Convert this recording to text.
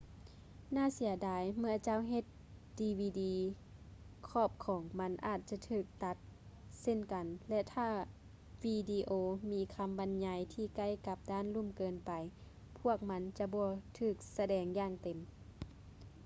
ໜ້າເສຍດາຍ ເມື່ອເຈົ້າເຮັດດີວີດີ ຂອບຂອງມັນອາດຈະຖືກຕັດເຊັ່ນກັນ ແລະ ຖ້າວິດີໂອມີຄຳບັນຍາຍທີ່ໃກ້ກັບດ້ານລຸ່ມເກີນໄປ ພວກມັນຈະບໍ່ຖືກສະແດງຢ່າງເຕັມ